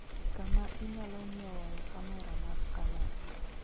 kama inyalo nyiewoe kamera mag canon